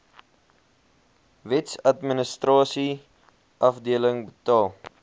wetsadministrasie afdeling betaal